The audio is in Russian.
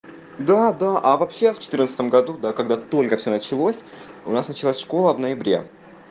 да да а вообще в четырнадцатом году да когда только всё началось у нас началась школа в ноябре